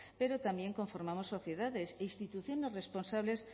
pero también conformamos sociedades e instituciones responsables